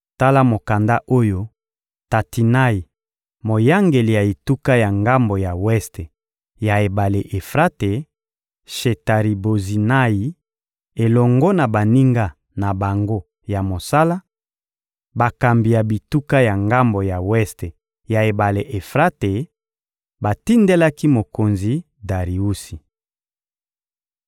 Tala mokanda oyo Tatinayi, moyangeli ya etuka ya ngambo ya weste ya ebale Efrate, Shetari-Bozinayi elongo na baninga na bango ya mosala, bakambi ya bituka ya ngambo ya weste ya ebale Efrate, batindelaki mokonzi Dariusi.